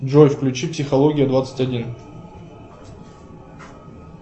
джой включи психология двадцать один